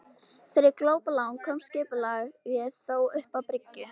Fyrir glópalán komst skipið þó upp að bryggju.